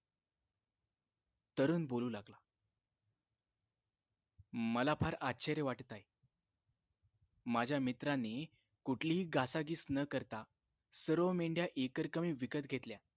तरुण बोलू लागला मला फार आश्चर्य वाटत आहे माझ्या मित्रांनी कुठली घासाघीस न करता सर्व मेंढ्या एकरकमी विकत घेतल्या